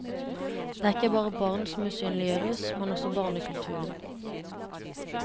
Det er ikke bare barn som usynliggjøres, men også barnekulturen.